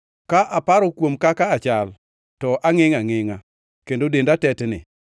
Ka aparo kuom kaka achal, to angʼengʼ angʼengʼa; kendo denda duto tetni.